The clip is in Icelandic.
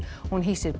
hún hýsir